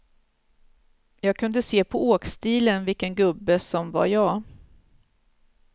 Jag kunde se på åkstilen vilken gubbe som var jag.